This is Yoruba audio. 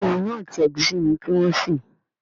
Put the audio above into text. Béèni Iyán àti egusi ní kí wón ṣe.